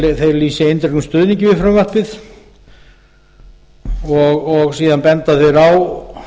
að þeir lýsi eindregnum stuðningi við frumvarpið og síðan benda þeir á